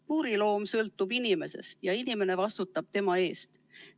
Puuriloom sõltub inimesest ja inimene vastutab tema eest.